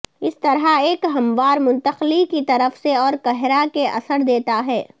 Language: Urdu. اس طرح ایک ہموار منتقلی کی طرف سے اور کہرا کے اثر دیتا ہے